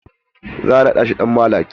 Za a naɗa shi dan maliki.